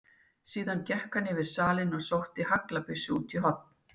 Síðan gekk hann yfir salinn og sótti haglabyssu út í horn.